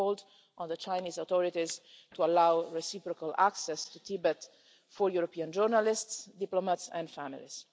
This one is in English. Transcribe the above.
We have called on the Chinese authorities to allow reciprocal access to Tibet for European journalists, diplomats and families.